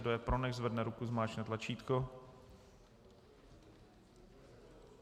Kdo je pro, nechť zvedne ruku, zmáčkne tlačítko.